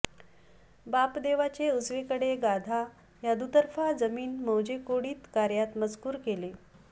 बापदेवाचे उजवीकडे गाधा या दुतर्फा जमीन मौजे कोढीत कर्यात मजकूर केले